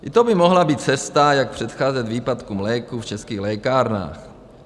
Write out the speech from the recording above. I to by mohla být cesta, jak předcházet výpadkům léků v českých lékárnách.